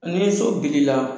Ni so bili la